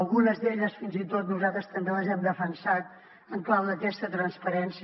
algunes d’elles fins i tot nosaltres també les hem defensat en clau d’aquesta transparència